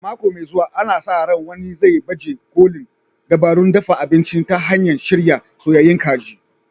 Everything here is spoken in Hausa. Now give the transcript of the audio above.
A mako mai zuwa, ana sa ran wani zai baje kolin dabarun dafa abinci ta hanyar shirya soyayyun kaji.